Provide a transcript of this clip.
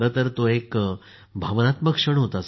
तो एक भावनात्मक क्षण होता सर